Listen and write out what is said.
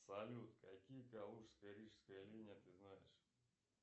салют какие калужско рижская линия ты знаешь